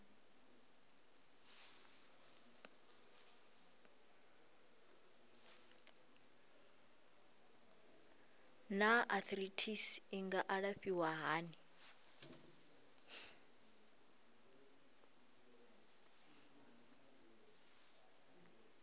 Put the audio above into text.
naa arthritis i nga alafhiwa hani